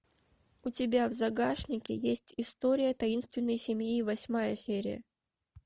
у тебя в загашнике есть история таинственной семьи восьмая серия